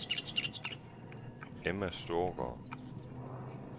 Emma Storgaard